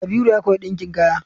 Kabiru ya koyi ɗinkin kaya.